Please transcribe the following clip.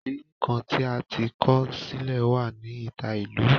Ìlẹ̀ kàn ti a ti kọ silẹ̀ wa ni ita ilú.